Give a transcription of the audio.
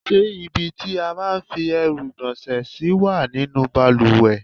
Ṣé ibi tí a máa ń fi èérún ìgbọ̀nsẹ̀ sí wà nínú bàlùwẹ̀?